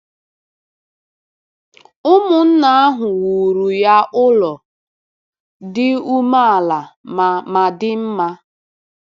Ụmụnna ahụ wuru ya ụlọ dị umeala ma ma dị mma.